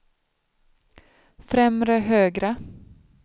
främre högra